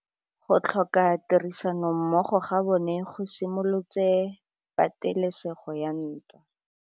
Go tlhoka tirsanommogo ga bone go simolotse patêlêsêgô ya ntwa.